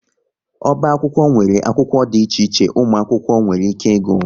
Oba akwụkwọ nwere akwụkwọ dị iche iche ụmụ akwụkwọ nwere ike ịgụ